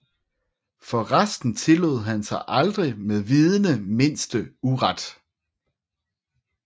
For resten tillod han sig aldrig med vidende mindste uret